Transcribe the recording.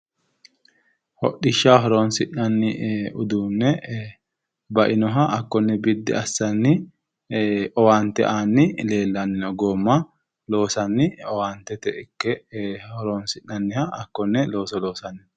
Hodhishshaho horonsi'nanni uduunne bainoha hakkonne biddi assanni owaante aanni leellanni no goomma loosanni Owaantete ikke horonsi'nanniha hakkonne looso loosanni no.